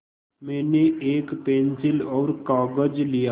मैंने एक पेन्सिल और कागज़ लिया